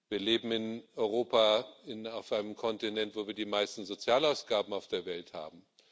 Wir leben in Europa auf einem Kontinent, wo wir die meisten Sozialausgaben auf der Welt haben.